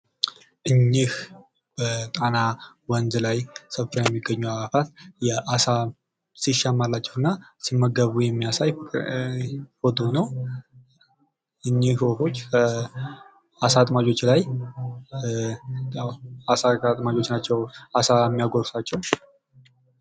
እኚህ በጣና ወንዝ ላይ ሰፍረው የሚገኙ አዋፋት የአሳ ሲሻማላቸው እና ሲመገቡ የሚያሳይ ፎቶ ነው። እኚህ ወፎች በ አሳ አጥማጆች ናቸው አሳ የሚያጎርሳቸው።